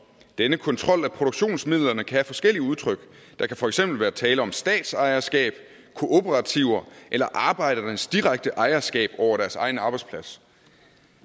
denne kontrol af produktionsmidlerne kan have forskellige udtryk der kan fx være tale om statsejerskab kooperativer eller arbejdernes direkte ejerskab over deres egen arbejdsplads